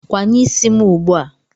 Kwanye isi m ugbu a!